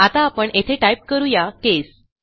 आता आपण येथे टाईप करू या केस